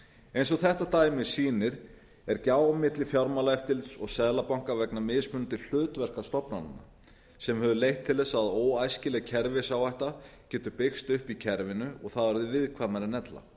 eins og þetta dæmi sýnir er gjá milli fjármálaeftirlits og seðlabanka vegna mismunandi hlutverka stofnananna sem hefur leitt til þess að óæskileg kerfisáhætta getur byggst upp í kerfinu og það er viðkvæmara en ella